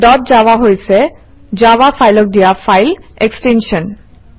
dot Java হৈছে Java ফাইলক দিয়া ফাইল এক্সটেনশ্যন